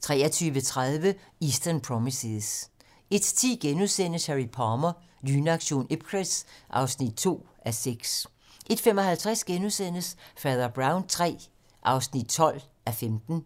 23:30: Eastern Promises 01:10: Harry Palmer - Lynaktion Ipcress (2:6)* 01:55: Fader Brown III (12:15)*